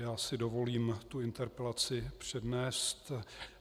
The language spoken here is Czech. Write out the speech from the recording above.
Já si dovolím tu interpelaci přednést.